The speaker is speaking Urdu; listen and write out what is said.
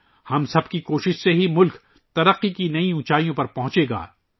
ہم سب کی کوششوں سے ہی ملک ترقی کی نئی اونچائیوں پر پہنچے گا